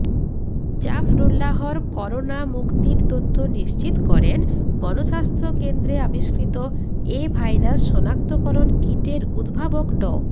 জাফরুল্লাহর corona মুক্তির তথ্য নিশ্চিত করেন গণস্বাস্থ্য কেন্দ্রে আবিষ্কৃত এ ভাইরাস শনাক্তকরণ কিটের উদ্ভাবক ড